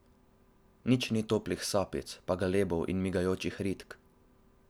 Nič ni toplih sapic, pa galebov in migajočih ritk.